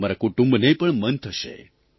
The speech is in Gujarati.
તમારા કુટુંબને પણ મન થશે